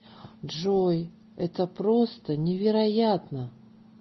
джой это просто невероятно